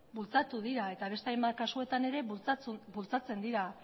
bultzatu dira eta beste hainbat kasuetan ere bultzatzen dira